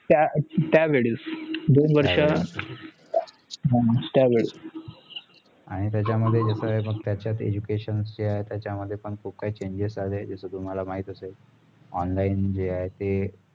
त्या वेळेस दोन वर्षा त्या वेळेस आणी त्याचं मध्ये education त्याचं मध्ये खुप changes आले तस तुम्हाला माहितचा आहे online जे आहे ते